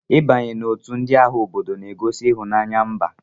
I banye n'otu ndị agha obodo na-egosi ịhụnanya mba.